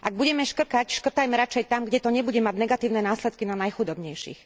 Ak budeme škrtať, škrtajme radšej tam, kde to nebude mať negatívne následky na najchudobnejších.